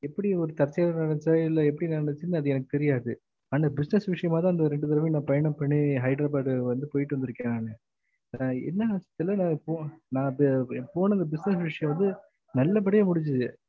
எப்டி ஒரு தற்செயலா நடந்துச்சா இல்ல எப்டி நடந்துச்சு எனக்கு தெரியாது ஆனா business விஷயமா தா அந்த ரெண்டு தடவையும் பயணம் பண்ணி ஹைதராபாத் வந்து போய்ட்டு வந்துருக்கேன் நானு என்னனு தெரியல ஆ போனது business விஷயம் வந்து நல்ல படிய முடுஞ்சது